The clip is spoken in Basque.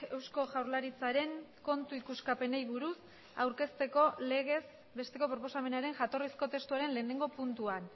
eusko jaurlaritzaren kontu ikuskapenei buruz aurkezteko legez besteko proposamenaren jatorrizko testuaren lehenengo puntuan